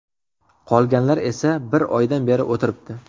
Qolganlar esa bir oydan beri o‘tiribdi.